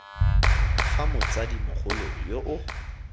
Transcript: fa motsadi mogolo yo o